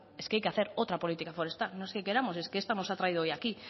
es que hay que hacer otra política forestal no es que queramos es que esta nos ha traído hoy aquí